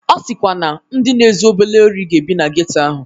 Ọ sịkwara na ndị na-ezu obele ori ga-ebi na geto ahụ